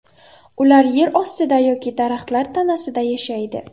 Ular yer ostida yoki daraxtlar tanasida yashaydi.